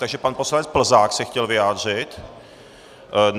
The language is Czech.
Takže pan poslanec Plzák se chtěl vyjádřit.